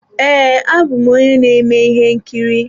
Ee, abụ m onye na-eme ihe nkiri.